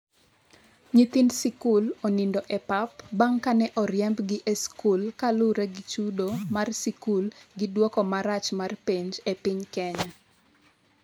nyithind sikul onindo e pap bang' kane oriembgi e sikul kaluwore gi chudo mar sikul gi dwoko marach mar penj e piny Kenya